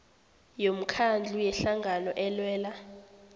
yomkhandlu yehlangano elwela